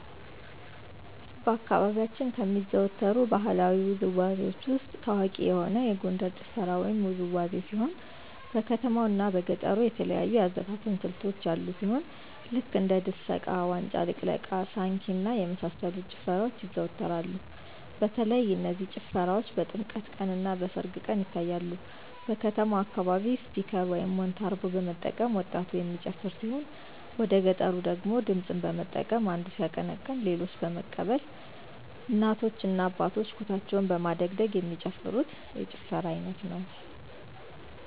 በአካባቢያችን ከሚዘወተሩ ባህለዊ ውዝዋዜዎች ውስጥ ታዋቂ የሆነ የጎንደር ጭፈራ ወይም ውዝዋዜ ሲሆን በከተማው እና በገጠሩ የተለያዩ የአዘፋፈን ስልቶች ያሉ ሲሆን ልክ እንደ ድሰቃ; ዋጫ ልቅለቃ; ሳንኪ እና የመሳሰሉት ጭፈራዎች ይዘዎተራሉ በተለይ እነዚህ ጭፈራዎች በጥምቀት ቀን; እና በሰርግ ቀን ይታያሉ። በከተማው አካባቢ ስፒከር (ሞንታርቦ) በመጠቀም ወጣቱ የሚጨፍር ሲሆን ወደገጠሩ ደግሞ ድምፅን በመጠቀም አንዱ ሲያቀነቅን ሌሎች በመቀበል የጭፈራ አይነት ሲሆን እናቶ እና አባቶች ኩታቸውን በማደግደግ የሚጨፍሩት የጭፈራ አይነት ነው።